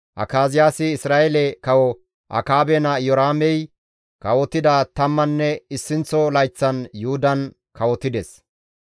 Akaziyaasi Isra7eele kawo Akaabe naa Iyoraamey kawotida tamman issinththo layththan Yuhudan kawotides.